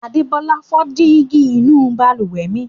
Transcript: Adébọ́lá fọ́ dígí inú balùwẹ̀ mi.